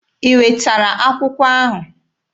I wetara akwụkwọ ahụ?